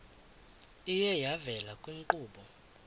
iye yavela kwiinkqubo